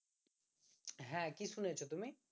হ্যাঁ কি শুনেছ তুমি